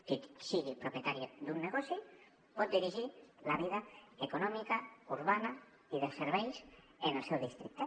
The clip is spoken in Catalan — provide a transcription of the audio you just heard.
qui sigui propietari d’un negoci pot dirigir la vida econòmica urbana i de serveis en el seu districte